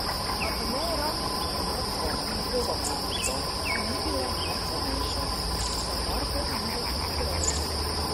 A po neuradnih informacijah njegova ponudba, ki ni bila najcenejša, za Marprom ni več aktualna.